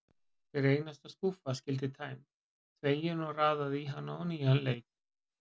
Hver einasta skúffa skyldi tæmd, þvegin og raðað í hana á nýjan leik.